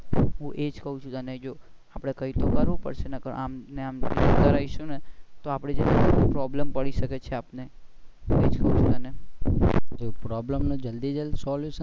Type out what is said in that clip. હું એજ કહું છું તને જો આપણે કહી શકવાનું પછી આમ ને આમ જોતા રહીશું ને તો આપણે problem પડી શકે છે આપણે ને. problem નો જલ્દી solution